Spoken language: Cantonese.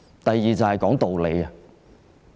第二，便是說道理。